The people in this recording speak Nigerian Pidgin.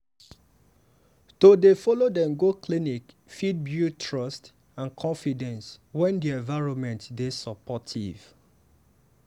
to dey follow dem go clinic fit build trust and confidence when di environment dey supportive.